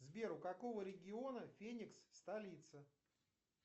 сбер у какого региона феникс столица